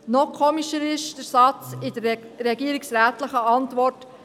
Noch eigenartiger ist folgender Satz in der regierungsrätlichen Antwort.